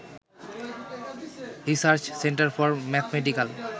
research centre for mathematical